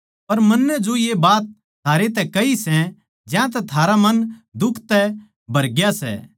पर मन्नै जो ये बात थारैतै कही सै ज्यांतै थारा मन दुख तै भरग्या सै